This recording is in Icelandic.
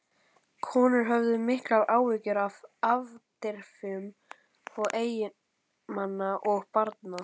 Konurnar höfðu miklar áhyggjur af afdrifum eiginmanna og barna.